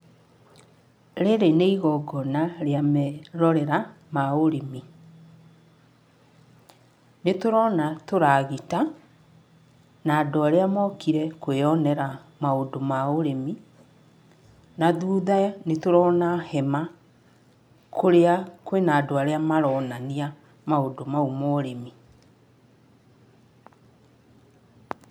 Rĩrĩ nĩ igongona rĩa merorera ma ũrĩmi. Nĩ tũrona tũragita, na andũ arĩa mokire kwĩonera maũndũ ma ũrĩmi, na thutha nĩ tũrona hema kũrĩa kwĩna andũ arĩa maronania maũndũ mau ma ũrĩmi.